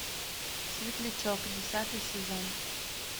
светлячок десятый сезон